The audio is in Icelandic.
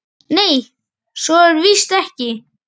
Nei, svo er víst ekki.